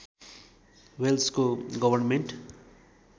वेल्सको government